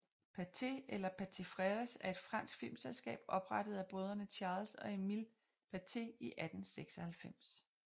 Pathé eller Pathé Frères er et fransk filmselskab oprettet af brødrene Charles og Emile Pathé i 1896